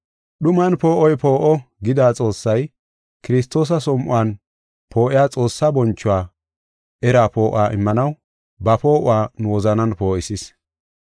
“Dhuman poo7oy poo7o” gida Xoossay, Kiristoosa som7uwan poo7iya Xoossaa bonchuwa eraa poo7uwa immanaw ba poo7uwa nu wozanan poo7isis.